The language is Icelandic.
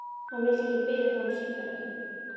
Hann vildi ekki biðja þá um sígarettu.